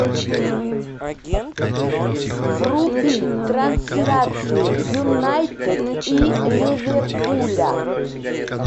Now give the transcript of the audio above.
вруби трансляцию юнайтед и ливерпуля